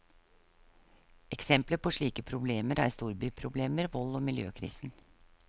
Eksempler på slike problemer er storbyproblemer, vold og miljøkrisen.